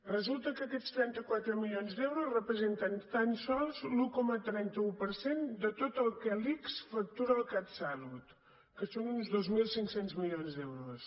resulta que aquests trenta quatre milions d’euros representen tan sols l’un coma trenta un per cent de tot el que l’ics factura al catsalut que són uns dos mil cinc cents milions d’euros